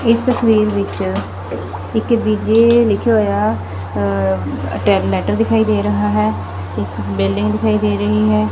ਇਸ ਤਸਵੀਰ ਵਿੱਚ ਇੱਕ ਵਿਜੇ ਲਿਖਿਆ ਹੋਇਆ ਲੈੱਟਰ ਦਿਖਾਈ ਦੇ ਰਿਹਾ ਹੈ ਇਕ ਬਿਲਡਿੰਗ ਦਿਖਾਈ ਦੇ ਰਹੀ ਹੈ।